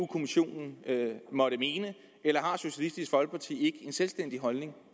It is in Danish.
kommissionen måtte mene eller har socialistisk folkeparti en selvstændig holdning